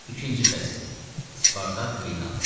İkinci fəsil: Spartak meydanda.